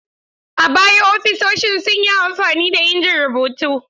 A baya ofisoshin sun yi amfani da injin rubutu.